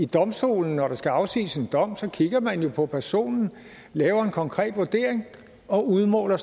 domstolene når der skal afsiges en dom kigger man jo på personen laver en konkret vurdering og udmåler